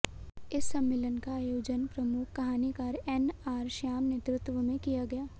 इस सम्मेलन का आयोजन प्रमुख कहानीकार एन आर श्याम के नेतृत्व में किया गया